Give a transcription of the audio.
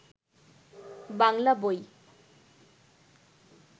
বাংলা বই